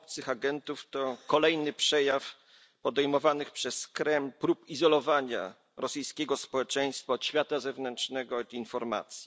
obcych agentów to kolejny przejaw podejmowanych przez Kreml prób izolowania rosyjskiego społeczeństwa od świata zewnętrznego i informacji.